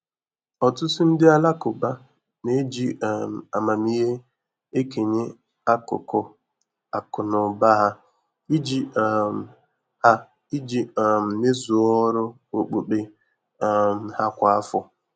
Ọtụtụ ndị Alakụba na-eji um amamihe ekenye akụkụ akụ na ụba ha iji um ha iji um mezuo ọrụ okpukpe um ha kwa afọ.